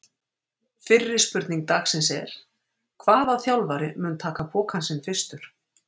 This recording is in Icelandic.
Fyrri spurning dagsins er: Hvaða þjálfari mun taka pokann sinn fyrstur?